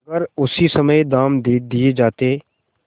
अगर उसी समय दाम दे दिये जाते